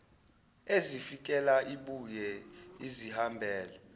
ezifikela ibuye izihambele